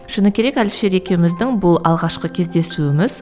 шыны керек әлішер екеуіміздің бұл алғашқы кездесуіміз